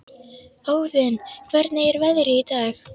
Óðinn, hvernig er veðrið í dag?